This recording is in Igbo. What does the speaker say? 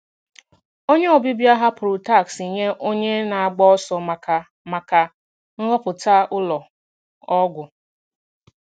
Onye ọbịbịa hapụrụ taksị nye onye na-agba ọsọ maka maka nhọpụta ụlọ ọgwụ.